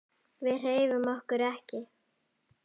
Við hreyfum okkur ekki.